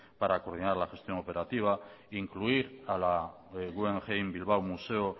para terminar la gestión operativa incluir a la guggenheim bilbao museo